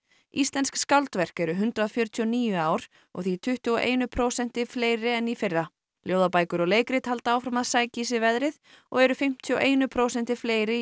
íslensk skáldverk eru hundrað fjörutíu og níu í ár og því tuttugu og einu prósenti fleiri en í fyrra ljóðabækur og leikrit halda áfram að sækja í sig veðrið og eru fimmtíu og einu prósenti fleiri í